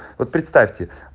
вот представьте